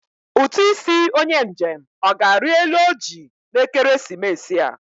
Ụtụ isi onye njem ọ ga-arị elu oji na ekeresimesi a?